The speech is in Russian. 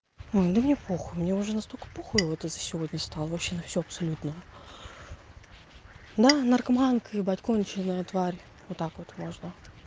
ой да мне похуй мне уже настолько похуй вот за сегодня стало вообще на всё абсолютно да наркоманка ебать конченная тварь вот так вот можно